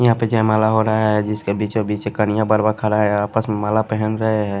यहां पे जय माला हो रहा है जिसके बीचों बीच कनिया बरवा खड़ा है आपस में माला पहन रहे हैं।